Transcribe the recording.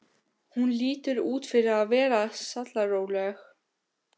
Hún lítur út fyrir að vera sallaróleg.